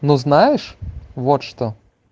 ну знаешь вот что